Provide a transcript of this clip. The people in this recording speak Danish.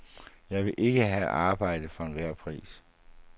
Jeg vil ikke have arbejde for enhver pris.